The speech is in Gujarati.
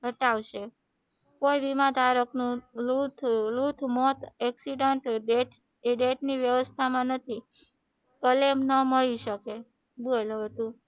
પટાવશે કોઈ વીમા માં ધારક નું લુથ મોત એકસીડન્ટ ડેથ ની વ્ય્વસ્થા માં નથી એમ નેમ માં હોય શકે બોલ હવે તું